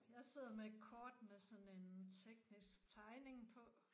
Jeg sidder med et kort med sådan en teknisk tegning på